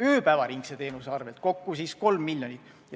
ööpäevaringsest teenusest – kokku 3 miljonit.